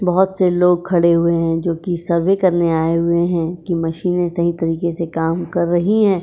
बहोत से लोग खड़े हुए हैं जोकि सर्वे करने आए हुए हैं कि मशीने सही तरीके से काम कर रही हैं।